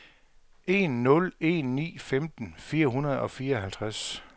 en nul en ni femten fire hundrede og fireoghalvtreds